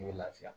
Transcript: I bɛ lafiya